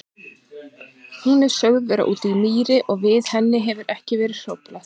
Hún er sögð vera úti í mýri og við henni hefur ekki verið hróflað.